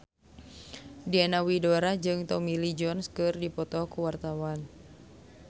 Diana Widoera jeung Tommy Lee Jones keur dipoto ku wartawan